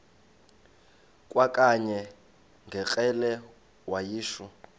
kwakanye ngekrele wayishu